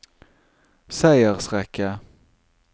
seiersrekke